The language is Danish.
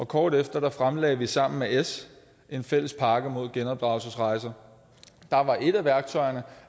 kort efter fremlagde vi sammen med s en fælles pakke mod genopdragelsesrejser der var et af værktøjerne